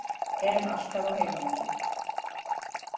Erum alltaf á heimavelli